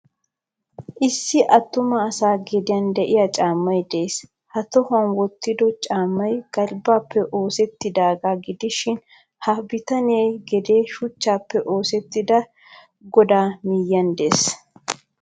Issi attuma asa gediyan de'iyaa caamay de'ees. Ha tohuwan wottido caamay galbbappe oosettidaga gidishin ha abitaniya gede shuchchappe oosettida godaa miyiyan de'ees.